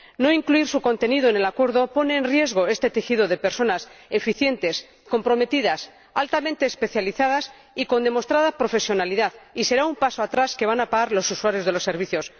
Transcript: No incluir su contenido en el acuerdo pone en riesgo este tejido de personas eficientes, comprometidas, altamente especializadas y con demostrada profesionalidad, y será un paso atrás que van a pagar los usuarios de los servicios.